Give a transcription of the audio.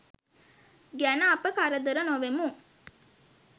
ගැන අප කරදර නොවෙමු.